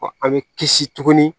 An bɛ kisi tuguni